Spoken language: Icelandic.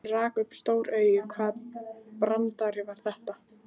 Hann rak upp stór augu, hvaða brandari var þetta?